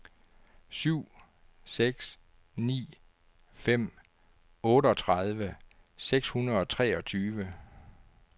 syv seks ni fem otteogtredive seks hundrede og treogtyve